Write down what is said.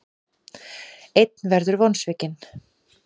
Einn verður vonsvikinn.